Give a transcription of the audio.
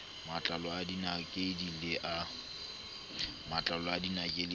matlalo a dinakedi le a